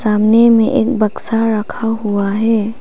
सामने में एक बक्सा रखा हुआ है।